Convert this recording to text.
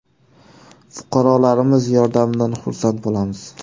Fuqarolarimiz yordamidan xursand bo‘lamiz.